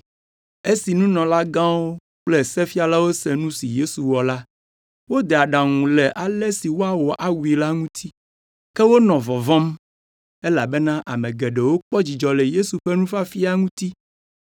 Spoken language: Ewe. Esi nunɔlagãwo kple sefialawo se nu si Yesu wɔ la, wode aɖaŋu le ale si woawɔ awui la ŋuti. Ke wonɔ vɔvɔ̃m, elabena ame geɖewo kpɔ dzidzɔ le Yesu ƒe nufiafia ŋuti.